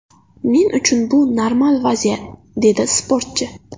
Men uchun bu normal vaziyat”, dedi sportchi.